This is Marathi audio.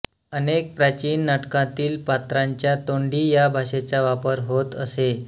अनेक प्राचीन नाटकांतील पात्रांच्या तोंडी या भाषेचा वापर होत असे